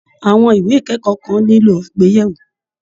Àwọn ìwé ìkẹ́kọ̀ọ́ kan nílò àgbéyẹ̀wò